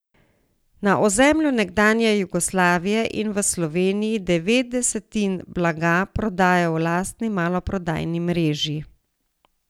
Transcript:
Na ozemlju nekdanje Jugoslavije in v Sloveniji devet desetin blaga prodajo v lastni maloprodajni mreži.